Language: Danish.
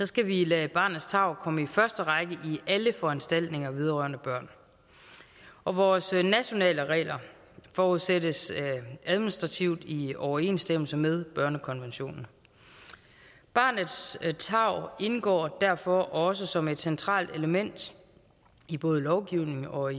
skal vi lade barnets tarv komme i første række i alle foranstaltninger vedrørende børn og vores nationale regler forudsættes administrativt i overensstemmelse med børnekonventionen barnets tarv indgår derfor også som et centralt element i både lovgivning og